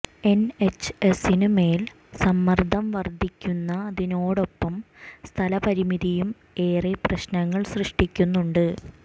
N എച്ച് എസിന് മേൽ സമ്മർദ്ദം വർദ്ധിക്കുന്നതിനോടൊപ്പം സ്ഥലപരിമിതിയും ഏറെ പ്രശ്നങ്ങൾ സൃഷ്ടിക്കുന്നുണ്ട്